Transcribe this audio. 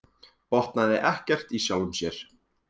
Botnaði ekkert í sjálfum sér.